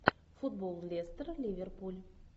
футбол лестер ливерпуль